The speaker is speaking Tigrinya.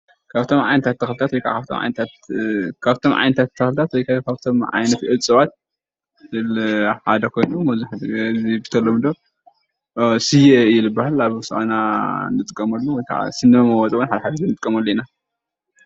ካብቶም ዓይነታት ተክልታት ወይ ካብቶም ዓይነት እፅዋት ሓደ ኮይኑ በተለመዶ ስየ እዩ ዝበሃል አብ አውሳአና እንጥቀመሉ ወይ ከዓ ስኒ መመወፂ ሓደሓደ ግዜ ንጥቀመሉ ኢና፡፡